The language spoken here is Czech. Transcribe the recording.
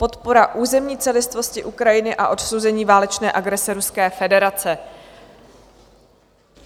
Podpora územní celistvosti Ukrajiny a odsouzení válečné agrese Ruské federace